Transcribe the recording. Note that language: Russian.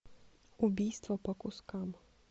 убийство по кускам